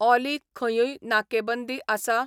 ऑली खंयूय नाकेबंदी आसा?